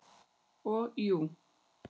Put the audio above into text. Og jú.